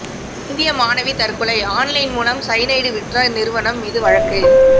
இந்திய மாணவி தற்கொலை ஆன்லைன் மூலம் சயனைடு விற்ற நிறுவனம் மீது வழக்கு